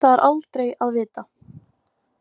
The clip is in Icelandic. Það er aldrei að vita